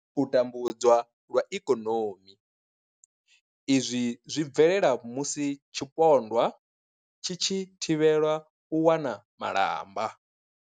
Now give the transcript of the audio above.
U tambudzwa lwa ikonomi, Izwi zwi bvelela musi tshipondwa tshi tshi thivhelwa u wana malamba.